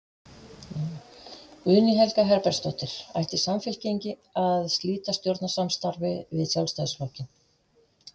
Guðný Helga Herbertsdóttir: Ætti Samfylking að slíta stjórnarsamstarfi við Sjálfstæðisflokkinn?